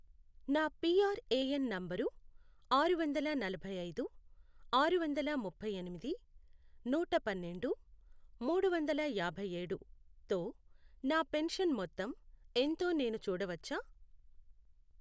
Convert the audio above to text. నా PRAN number ఆరువందల నలభై ఐదు, ఆరువందల ముప్పై ఎనిమిది, నూట పన్నెండు, మూడువందల యాభై ఏడు, తో నా పెన్షన్ మొత్తం ఎంతో నేను చూడవచ్చా?